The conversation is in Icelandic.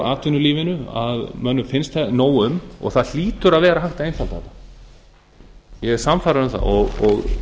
atvinnulífinu að mönnum finnst nóg um og það hlýtur að vera hægt að einfalda þetta ég er sannfærður um það og